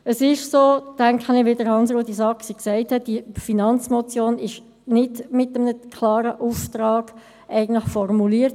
Ich denke, es ist so, wie Hans-Rudolf Saxer gesagt hat: Diese Finanzmotion ist nicht mit einem klaren Auftrag formuliert.